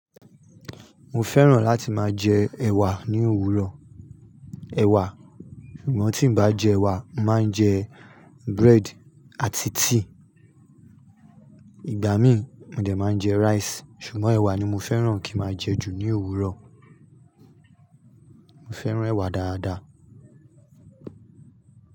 Mo fẹ́ràn láti máa jẹ ẹ̀wà ní òwúrọ̀. Ẹ̀wà. Ṣùgbọ́n tí ǹ bá jẹ ẹ̀wà, n màá ń jẹ bread àti tíì. Ìgbà míì, mo dẹ̀ máa ń jẹ rice, ṣùgbọ́n ẹ̀wà ni mo fẹ́ràn kí n máa jẹ jù ní òwúrọ̀. Mo fẹ́ràn ẹ̀wà dáadáa.